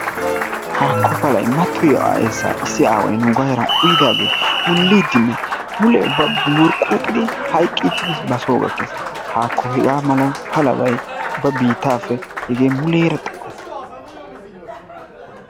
Haakko palay mattoyiiyaa eesaa issi aaway nuugaa heeran uyidaagee wuliidinne mule ubba wurquuqqidi hayqqichidi basoo gakkis. Haakko hegaa mala palabay ubba biittappe muleera xayo.